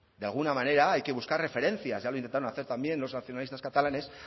de alguna manera hay que buscar referencias ya lo intentaron hacer también los nacionalistas catalanes